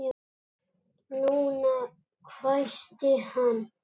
NÚNA! hvæsti hann.